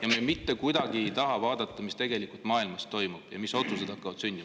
… ja me mitte kuidagi ei taha vaadata, mis tegelikult maailmas toimub ja mis otsused hakkavad sündima.